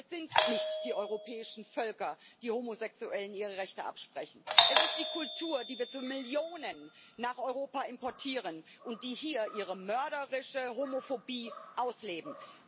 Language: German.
Es sind nicht die europäischen Völker, die Homosexuellen ihre Rechte absprechen, es ist die Kultur, die wir zu Millionen nach Europa importieren und die hier ihre mörderische Homophobie ausleben.